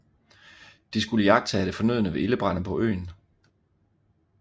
De skulle iagttage det fornødne ved Ildebrande på øen